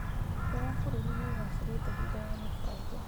ũtonga wa bũrũri nĩũgacĩrĩte thutha wa mũbango